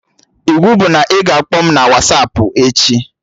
Iwu bụ na ị ga-akpọ m na Wasapụ echi!